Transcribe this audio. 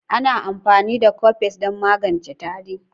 Ana amfani da Cofes don magance tari.